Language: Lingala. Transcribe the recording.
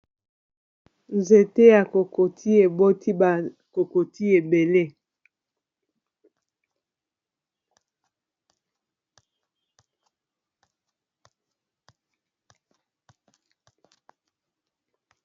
nzete ya kokotiye eboti bakokotiye ebele